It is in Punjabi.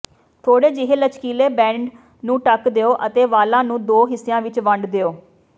ਥੋੜ੍ਹੇ ਜਿਹੇ ਲਚਕੀਲੇ ਬੈਂਡ ਨੂੰ ਢੱਕ ਦਿਓ ਅਤੇ ਵਾਲਾਂ ਨੂੰ ਦੋ ਹਿੱਸਿਆਂ ਵਿਚ ਵੰਡ ਦਿਓ